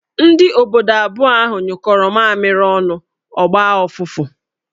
Ndị obodo abụọ ahụ nyụkọro mamịrị ọnụ, ọ gbaa ọfụfụ